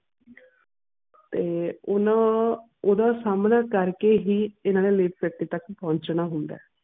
ਤੇ ਉਨ੍ਹਾਂ ਓਹਦਾ ਸਾਹਮਣਾ ਕਰਕੇ ਹੀ ਇਨ੍ਹਾਂ ਨੇ ਤੱਕ ਪਹੁੰਚਣਾ ਹੁੰਦਾ ਆ